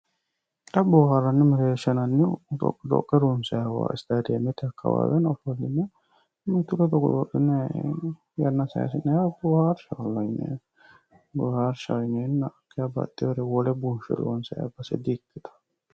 Xa booharanni mereersha yinnannihu dhoqidhoqe ronsanniwa stademete akawaweno mimmitu ledo godo'linnayi yanna saysi'nanniwa booharshaho yineenna hakeeshsha baxewo garinni wole bunshe loonsanniwa di'ikkittano.